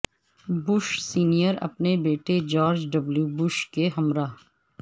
Bush senior اپنے بیٹے George W Bush کے ہمراہ